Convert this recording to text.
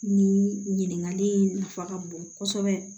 Ni ɲininkali in nafa ka bon kosɛbɛ